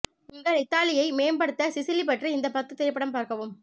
உங்கள் இத்தாலியை மேம்படுத்த சிசிலி பற்றி இந்த பத்து திரைப்படம் பார்க்கவும்